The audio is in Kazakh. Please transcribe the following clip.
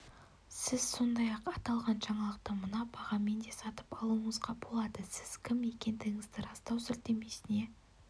сіз сондай-ақ аталған жаңалықты мына бағамен де сатып алуыңызға болады сіз кім екендігіңізді растау сілтемесіне